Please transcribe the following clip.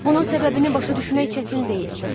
Bunun səbəbini başa düşmək çətin deyil.